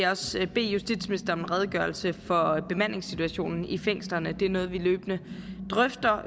også bede justitsministeren om en redegørelse for bemandingssituationen i fængslerne det er noget vi løbende drøfter